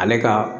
Ale ka